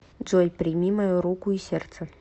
джой прими мою руку и сердце